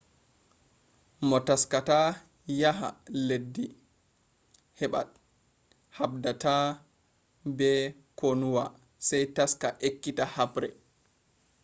moo taskata yaha leddii habdaata be konuwa sai taska ekkita habre